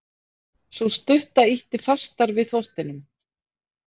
Sú stutta ýtti fastar við þvottinum.